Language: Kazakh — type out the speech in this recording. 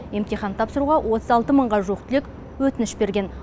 емтихан тапсыруға отыз алты мыңға жуық түлек өтініш берген